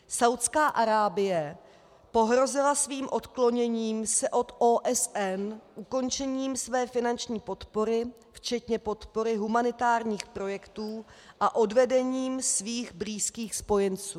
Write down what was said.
Saúdská Arábie pohrozila svým odkloněním se od OSN ukončením své finanční podpory včetně podpory humanitárních projektů a odvedením svých blízkých spojenců.